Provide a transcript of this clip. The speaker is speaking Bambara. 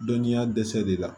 Dɔnniya dɛsɛ de la